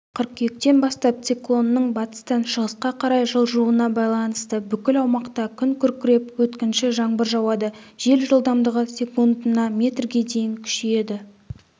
қыркүйектен бастап циклонның батыстан шығысқа қарай жылжуына байланысты бүкіл аумақта күн күркіреп өткінші жаңбыр жауады жел жылдамдығы секундына метрге дейін күшейеді